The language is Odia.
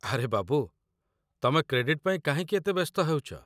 ଆରେ ବାବୁ, ତମେ କ୍ରେଡିଟ୍‌ ପାଇଁ କାହିଁକି ଏତେ ବ୍ୟସ୍ତ ହେଉଛ?